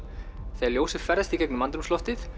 þegar ljósið ferðast í gegnum andrúmsloftið